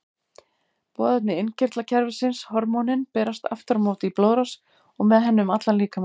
Boðefni innkirtlakerfisins, hormónin, berast aftur á móti í blóðrás og með henni um allan líkamann.